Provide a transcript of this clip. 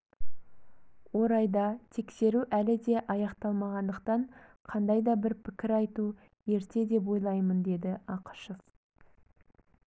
орайда тексеру әлі де аяқталмағандықтан қандай да бір пікір айту ерте деп ойлаймын деді ақышев